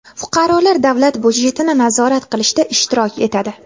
Fuqarolar davlat byudjetini nazorat qilishda ishtirok etadi.